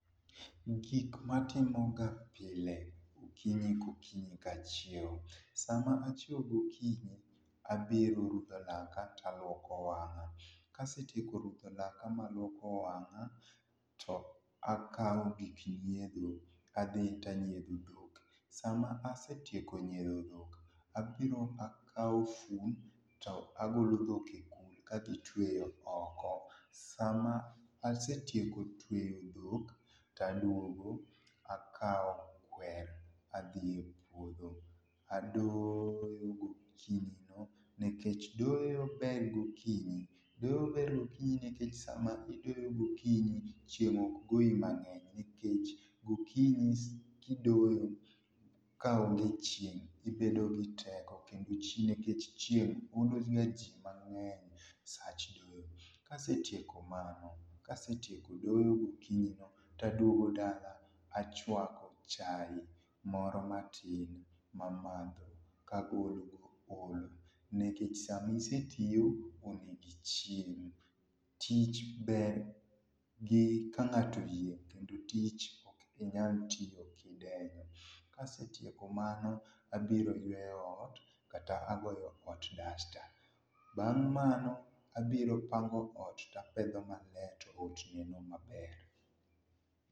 gikma atimoga pile okinyi ka okinyi ka achiew sama achiew gokinyi abiro rudho laka taluoko wanga, kasetieko rudho laka ma aluoko wanga takaw pii nyiedho adhi tanyiedho dhok, sama asetieko nyiedho dhok, abiro akaw fun to agolo dhok e kul adhi tweyo oko, sama asetieko tweyo dhok taduogo akaw kwer adhie puodho adoyo gokinyino nikech doyo ber gokinyi, doyo ber gokinyi nikech chieng ok goyi mangeny nikech gokinyi kidoyo kaonge chieng ibedo gi teko nikech chieng ologa jii mangeny sach doyo, kasetieko mano kasetieko doyo gokinyi no taduogo dala achwako chai moro matin mamadho kagolo go olo nikech sama isetiyo onego ichiem, tich ber gi kangato oyieng kendo tich ok inyal tiyo kidenyo. Ka asetieko mano abiro yweyo ot kata agoyo ot dasta, bang mano tabiro pango ot tapedho maler to otieno maber